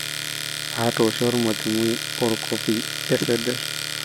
atoosho ormalimui orkofi eseder